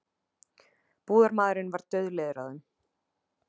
Búðarmaðurinn var dauðleiður á þeim.